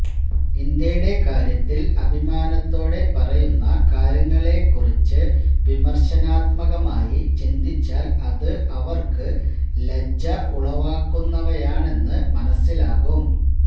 ഇന്ത്യയുടെ കാര്യത്തില് അഭിമാനത്തോടെ പറയുന്ന കാര്യങ്ങളെ കുറിച്ച് വിമര്ശനാത്മകമായി ചിന്തിച്ചാല് അത് അവര്ക്ക് ലജ്ജ ഉളവാക്കുന്നവയാണെന്ന് മനസ്സിലാകും